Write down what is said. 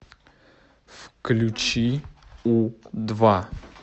включи у два